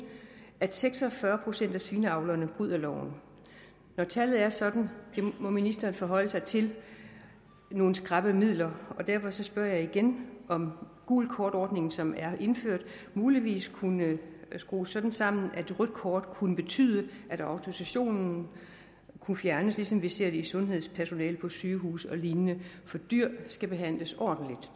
at seks og fyrre procent af svineavlerne bryder loven når tallet er sådan må ministeren forholde sig til nogle skrappe midler derfor spørger jeg igen om gult kort ordningen som er indført muligvis kunne skrues sådan sammen at et rødt kort kunne betyde at autorisationen kunne fjernes ligesom vi ser det for sundhedspersonale på sygehuse og lignende for dyr skal behandles ordentligt